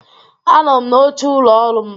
Anọ m n'oche ụlọ ọrụ m.